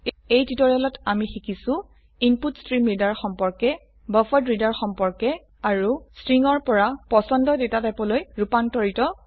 এই টিউটৰিয়েলত আমি শিকিছো ইনপুটষ্ট্ৰীমৰিডাৰ সম্পৰ্কে বাফাৰেড্ৰেডাৰ সম্পৰ্কে আৰু স্ট্ৰিং পৰা পছন্দ ডেটাটাইপলৈ ৰুপান্তৰ কৰা